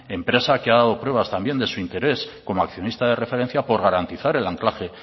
empresa que ha dado pruebas también de su interés como accionista de referencia por garantizar el anclaje